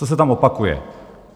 Co se tam opakuje?